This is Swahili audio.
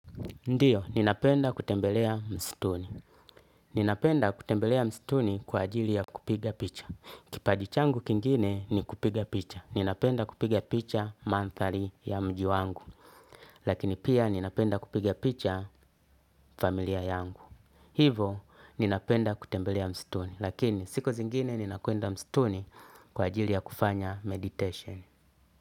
Ndiyo, ninapenda kutembelea mstuni. Ninapenda kutembelea mstuni kwa ajili ya kupiga picha. Kipaji changu kingine ni kupiga picha. Ninapenda kupiga picha manthari ya mji wangu. Lakini pia ninapenda kupiga picha familia yangu. Hivo, ninapenda kutembelea mstuni. Lakini, siku zingine ninakwenda mstuni kwa ajili ya kufanya meditation.